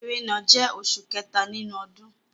Ẹrẹ́nà jẹ́ oṣù kẹta nínú ọdún.